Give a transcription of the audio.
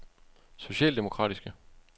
socialdemokratiske